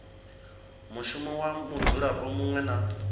mushumo wa mudzulapo muṅwe na